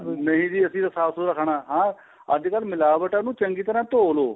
ਨਹੀਂ ਜੀ ਅਸੀਂ ਸਾਫ਼ ਸੁੱਥਰਾ ਖਾਣਾ ਅੱਜਕਲ ਮਿਲਾਵਟ ਨੂੰ ਚੰਗੀ ਤਰ੍ਹਾਂ ਨੂੰ ਧੋਹ ਲਵੋ